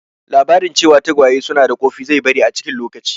Labarin cewa tagwaye su na da ƙofi zai bari a cikin lokaci